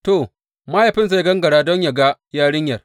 To, mahaifinsa ya gangara don yă ga yarinyar.